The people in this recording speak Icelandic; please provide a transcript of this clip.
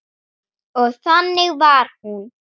Og þannig var hún.